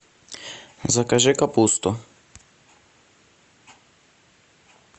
закажи капусту